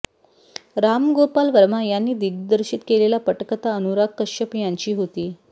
रामगोपाल वर्मा यांनी दिग्दर्शित केलेला पटकथा अनुराग कश्यप यांची होती